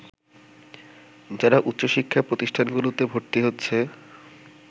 যারা উচ্চশিক্ষা প্রতিষ্ঠানগুলোতে ভর্তি হচ্ছে